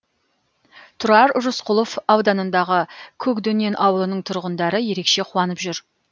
тұрар рысқұлов ауданындағы көкдөнен ауылының тұрғындары ерекше қуанып жүр